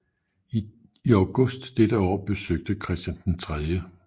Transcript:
I august dette år besøgte Christian 3